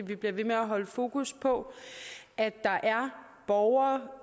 vi bliver ved med at holde fokus på at der er borgere